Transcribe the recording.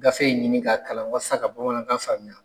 Gafe in ɲini k'a kalan walasa ka bamanankan faamuya.